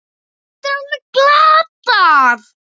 Þetta var alveg glatað.